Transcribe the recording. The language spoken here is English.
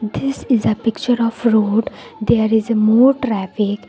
This is a picture of road. There is a more traffic.